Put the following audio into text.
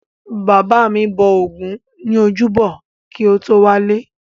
Bàbá mi bọ ògún ní ojúbọ kí o tó wálé.